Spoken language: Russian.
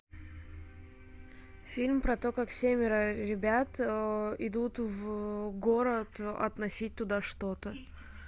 фильм про то как семеро ребят идут в город относить туда что то